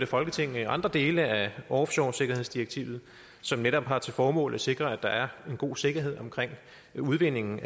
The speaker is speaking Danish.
folketinget andre dele af offshoresikkerhedsdirektivet som netop har til formål at sikre at der er god sikkerhed omkring udvindingen